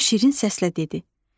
O şirin səslə dedi: